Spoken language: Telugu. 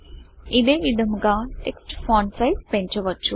ఇదే విధముగా టెక్స్ట్ ఫాంట్ సిజ్ పెంచవచ్చు